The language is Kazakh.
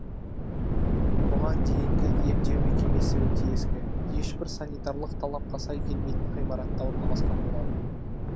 бұған дейінгі емдеу мекемесі өте ескі ешбір санитарлық талапқа сай келмейтін ғимаратта орналасқан болатын